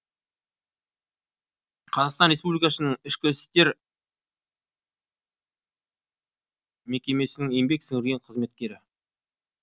қазақстан ресбулкасының ішкі істер мекмесінің еңбек сіңірген қызметкері